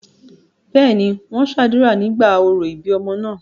bẹ́ẹ̀ni, wọ́n sàdúrà nígbà orò ìbí ọmọ náà